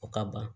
O ka ban